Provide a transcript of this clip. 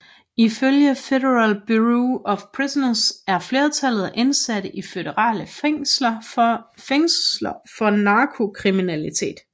Ifølge Federal Bureau of Prisons er flertallet af indsatte i føderale fængsler for narkotikakriminalitet